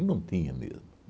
não tinha mesmo.